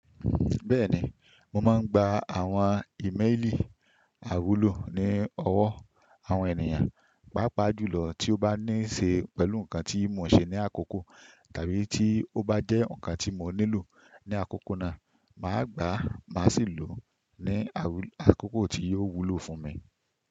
Bẹ́ẹ̀ni, mo máa ń gba àwọn ímeèlì àwúlò ní ọwọ́ àwọn ènìyàn, pàápàá jùlọ tí ó bá ní ṣe pẹ̀lú nǹkan tí mo ṣe ní àkókò tàbí tí ó bá jẹ́ ǹkan tí mo nílò ní àkókò náà. Màá gbà á, màá sì lò ó ní àkókò tí yóò wúlò fún mi.